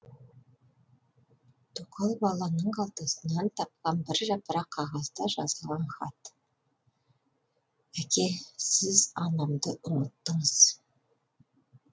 тоқал баланың қалтасынан тапқан бір жапырақ қағазда жазылған хат әке сіз анамды ұмыттыңыз